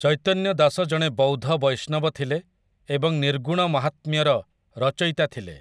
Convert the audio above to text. ଚୈତନ୍ୟ ଦାସ ଜଣେ ବୌଦ୍ଧ ବୈଷ୍ଣବ ଥିଲେ ଏବଂ ନିର୍ଗୁଣ ମାହାତ୍ମ୍ୟର ରଚୟିତା ଥିଲେ ।